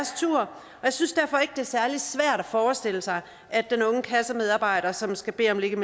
jeg synes derfor ikke det er særlig svært at forestille sig at den unge kassemedarbejder som skal bede